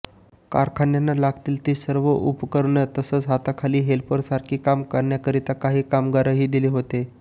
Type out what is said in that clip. कारखान्यानं लागतील ती सर्व उपकरणं तसंच हाताखाली हेल्परसारखी कामं करण्याकरता काही कामगारही दिले होते